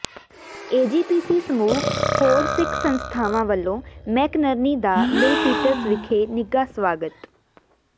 AGPC ਸਮੂਹ ਹੋਰ ਸਿੱਖ ਸੰਸਥਾਵਾਂ ਵੱਲੋਂ ਮੈਕਨਰਨੀ ਦਾ ਮਿਲਪੀਟਸ ਵਿਖੇ ਨਿੱਘਾ ਸਵਾਗਤ